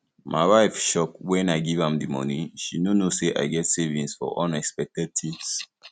my wife shock wen i give am the money she no know say i get savings for unexpected things